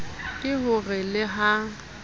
ke ho re le ha